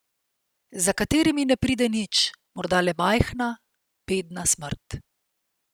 Za katerimi ne pride nič, morda le majhna, bedna smrt.